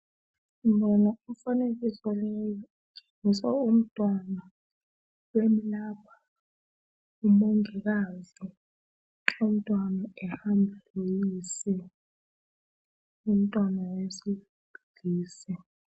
Ngibona umfanekiso leyi etshengisa umntwana bemlapha ngumongikazi. Umntwana ehamba loyise. Umntwana wesilisa.